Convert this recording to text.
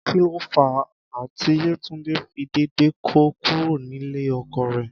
Kí ló fà á tí Yétúndé fi dédé kó kúrò nílé ọkọ rẹ̀?